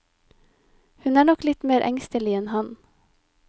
Hun er nok litt mer engstelig enn han.